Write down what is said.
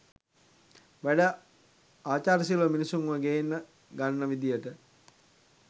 වැඩ ආචාරශීලීව මිනිස්සුන්ව ගෙන්න ගන්න විදියට